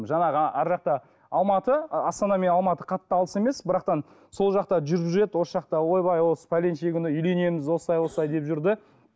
жаңағы арғы жақта алматы ы астана мен алматы қатты алыс емес бірақ та сол жақта жүріп жүреді осы жақта ойбай осы пәленше күні үйленеміз осылай осылай деп жүрді